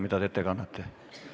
Või mida te ette kannate?